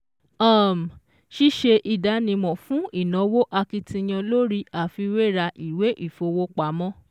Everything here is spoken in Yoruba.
um Ṣíṣe ìdánimọ̀ fún ìnáwó akitiyan lórí àfiwéra ìwé ìfowópamọ́